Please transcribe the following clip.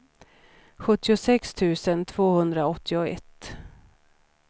sjuttiosex tusen tvåhundraåttioett